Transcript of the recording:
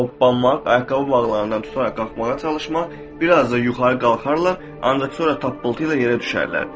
qalxmaq, ayaqqabı bağlarından tutaraq qalxmağa çalışmaq, biraz da yuxarı qalxarlar, ancaq sonra tappıltı ilə yerə düşərlər.